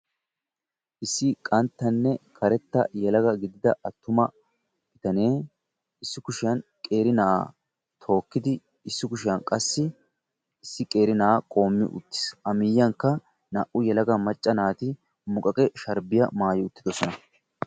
issi qanttanne karetta gidida issi bitane issi kushiya qeeri na'a tookid issi kushiya qassi issi yelaga na'a qoomi uttiis a miyiyyankka naa"u yelaga macca naati muqaqe sharbbiya maayi uttidoosona